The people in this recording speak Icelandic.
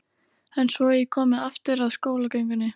En svo ég komi aftur að skólagöngunni.